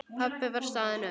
Pabbi var staðinn upp.